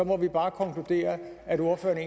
må vi bare konkludere at ordføreren